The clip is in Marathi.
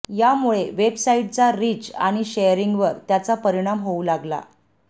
यामुळे वेबसाईटचा रीच आणि शेअरिंगवर त्याचा परिणाम होऊ लागला